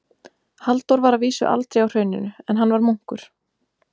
Halldór var að vísu aldrei á Hrauninu, en hann var munkur.